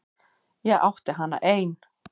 Ég átti hana ein.